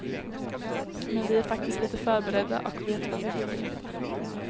Men vi är faktiskt lite förberedda, och vet var vi bör leta.